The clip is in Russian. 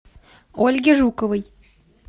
ольге жуковой